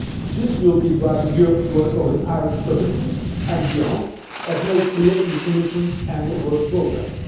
This will be driving Europe's work over the Irish Presidency and beyond, as made clear in the Commission's annual work programme.